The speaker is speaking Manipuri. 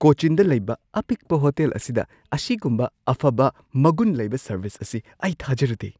ꯀꯣꯆꯤꯟꯗ ꯂꯩꯕ ꯑꯄꯤꯛꯄ ꯍꯣꯇꯦꯜ ꯑꯁꯤꯗ ꯑꯁꯤꯒꯨꯝꯕ ꯑꯐꯕ ꯃꯒꯨꯟ ꯂꯩꯕ ꯁꯔꯕꯤꯁ ꯑꯁꯤ ꯑꯩ ꯊꯥꯖꯔꯨꯗꯦ ꯫